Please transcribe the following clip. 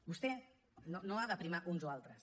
vostè no ha de primar uns o altres